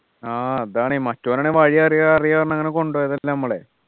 ആഹ് അതാണ് മറ്റവൻ ആണെങ്ങി വഴി അറിയാ അറിയാ പറഞ്ഞ് അങ്ങനെ കൊണ്ടോയി നമ്മളെ